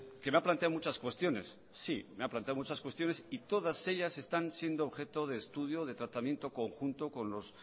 que me ha planteado muchas cuestiones sí me ha planteado muchas cuestiones y todas ellas están siendo objeto de estudio de tratamiento conjunto con los